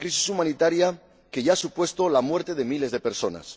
una crisis humanitaria que ya ha supuesto la muerte de miles de personas.